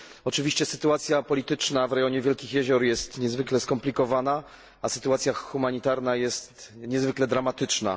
Oczywiście sytuacja polityczna w rejonie Wielkich Jezior jest niezwykle skomplikowana, a sytuacja humanitarna jest niezwykle dramatyczna.